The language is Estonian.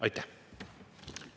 Aitäh!